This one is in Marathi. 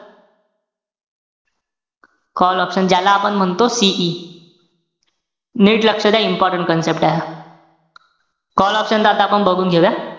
Call option ज्याला आपण म्हणतो CE नीट लक्ष द्या important concept आहे हा. call option च आता आपण बघून घेऊया.